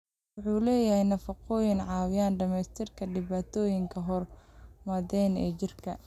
Kalluunku waxa uu leeyahay nafaqooyin caawiya dhimista dhibaatooyinka hormoonnada ee jidhka.